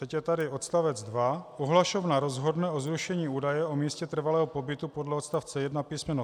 Teď je tady odstavec 2: Ohlašovna rozhodne o zrušení údaje o místě trvalého pobytu podle odstavce 1 písm.